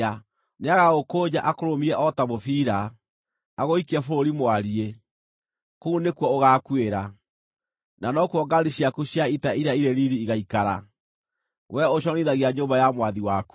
Nĩagagũkũnja akũrũmie o ta mũbira, agũikie bũrũri mwariĩ. Kũu nĩkuo ũgaakuĩra, na nokuo ngaari ciaku cia ita iria irĩ riiri igaikara: wee ũconorithagia nyũmba ya mwathi waku!